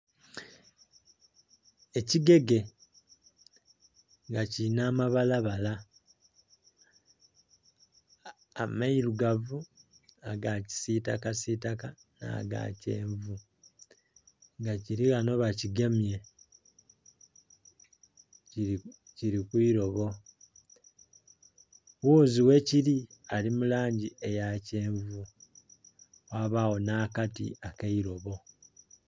Ekigege. Nga kirina amabalabala, amairugavu, na gakisitaka sitaka na ga kyenvu nga kiri ghano bakigemye kiri kwi lobo ghuzi whekiri ali mu langi eyakyenvu ghabaagho nakati akeilobo.